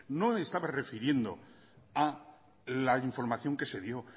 no estaba refiriendo a la información que se dio